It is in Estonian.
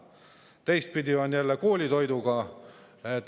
on koolitoiduga.